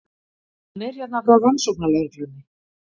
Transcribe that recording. Hann er hérna frá rannsóknarlögreglunni.